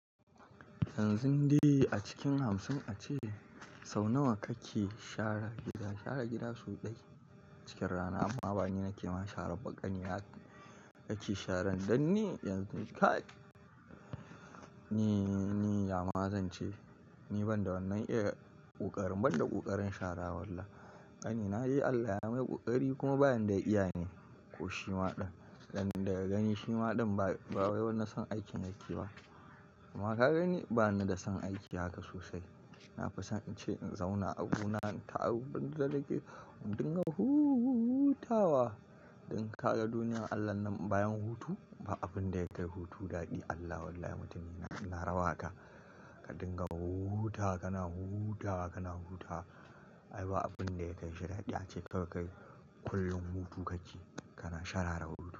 Yanzun de a cikin hamsin a ce sau nawa kake share gida? Share gida sau ɗai cikin rana amma bani na kema share ba ƙanina yake sharan dan ni yanzu kai ni, ni ya ma zan ce ni ban da wannan iya ƙoƙarin ban da ƙoƙarin shara walla. Gani na yi Allah ya mai ƙoƙari kuma bayan da iya ne ko shima ɗin dan daga gani shima ɗin ba, ba wani son aikin yake ba. Kuma ka gani bani da son aiki haka sosai. Na fi son in ce in zauna a gona in ta abun da nake in dinga hutawa. Dan ka ga duniyar Allah nan bayan hutu ba abun da ya kai hutu daɗi Allah wallahi mutane na, na rawa ka. Ka dinga hutawa, kana hutawa, kana hutawa a ai ba abun da ya kai shi dadi ace ka kai kullum hutu kake kana shara da hutu.